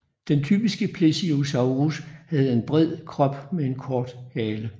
Den typiske plesiosaurus havde en bred krop med en kort hale